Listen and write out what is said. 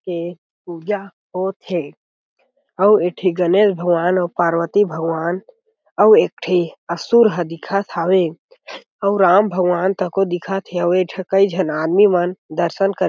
के पूजा होत हे अउ एक ठे गणेश भगवान अउ पार्वती भगवान अउ एक ठी असुर ह दिखत हवे अउ राम भगवान तक को दिखत हे अउ ऐ ठ कई झन आदमी मन दर्शन करे--